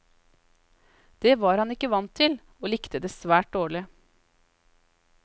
Det var han ikke vant til, og likte det svært dårlig.